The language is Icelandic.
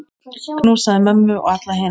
Knúsaðu mömmu og alla hina.